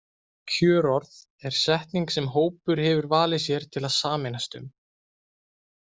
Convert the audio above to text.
Kjörorð er setning sem hópur hefur valið sér til að sameinast um.